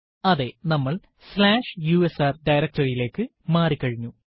അതെ നമ്മൾ slash USR directory യിലേക്ക് മാറി കഴിഞ്ഞു